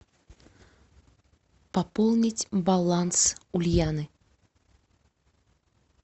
пополнить баланс ульяны